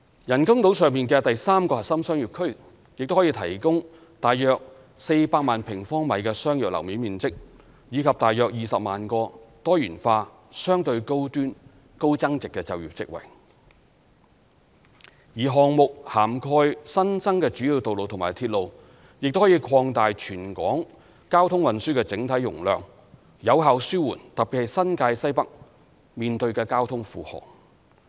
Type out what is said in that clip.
人工島上的第三個核心商業區亦可提供約400萬平方米商業樓面面積，以及大約20萬個多元化、相對高端、高增值的就業職位，而項目涵蓋新增的主要道路及鐵路，亦可擴大全港交通運輸的整體容量，有效紓緩特別是新界西北面對的交通負荷。